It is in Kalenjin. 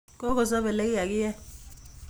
Kokosob elekikakiyeny